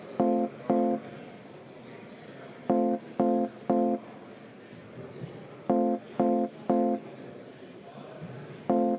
Aitäh!